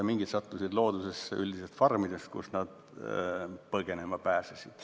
Mingid sattusid loodusesse farmidest, kust nad põgenema pääsesid.